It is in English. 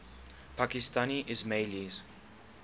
pakistani ismailis